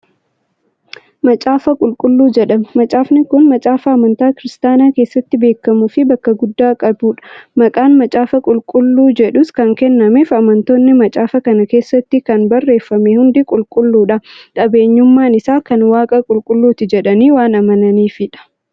Macaafa qulqulluu jedhama. macaafni Kun macaafa amantaa kiristaanaa keessatti beekamuufi bakka guddaa qabuudha. maqaan macaafa qulqulluu jedhus Kan kennameef amantoonni macaafa kana keessatti Kan barreeffame hundi qulqulludha, qabeenyummaan Isaa Kan waaqa qulqulluuti jedhanii waan amananiifidha.